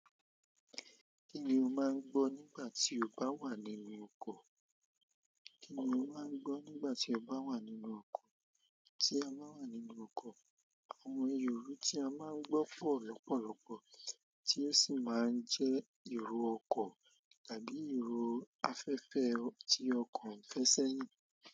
Kí ni o máa ń gbọ́ nígbà tí o bá wà nínú ọkọ̀? Kí ni o máa ń gbọ́ nígbà tí o bá wà nínú ọkọ̀? Tí a bá wà nínú ọkọ̀, àwọn irò tí a máa ń gbọ́ pọ̀ lọ́pọ̀lọpọ̀ tí ó sì máa ń jẹ́ irò ọkọ̀ tàbí irò afẹ́fẹ́ tí ọkọ̀ ń fẹsẹ̀ yìn.